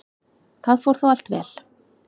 Það fór þó allt vel.